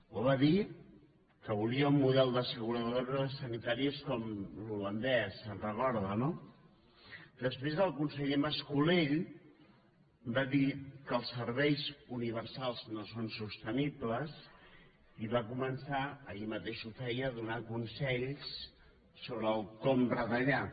ho va dir que volia un model d’asseguradores sanitàries com l’holandès se’n recorda no després el conseller mas colell va dir que els serveis universals no són sostenibles i va començar ahir mateix ho feia a donar consells sobre com retallar